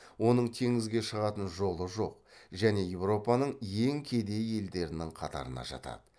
оның теңізге шығатын жолы жоқ және еуропаның ең кедей елдерінің қатарына жатады